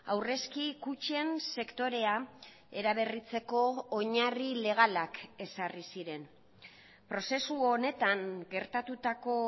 aurrezki kutxen sektorea eraberritzeko oinarri legalak ezarri ziren prozesu honetan gertatutako